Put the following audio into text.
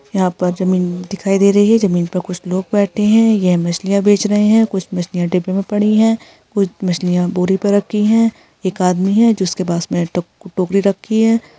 यहाँ पर जमीन दिखाई दे रही है पर कुछ लोग बैठे हैं यह मछलियां बेच रहै हैं कुछ मछलियां डिब्बे में पड़ी है कुछ मछलियां बोरी पर रखी हैं एक आदमी है जिसके पास में ट- टोकरी रखी है।